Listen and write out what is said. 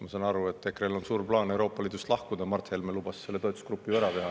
Ma saan aru, et EKRE‑l on suur plaan Euroopa Liidust lahkuda, Mart Helme lubas selle toetusgrupi ära teha.